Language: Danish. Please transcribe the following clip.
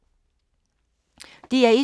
DR1